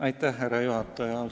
Austatud härra juhataja!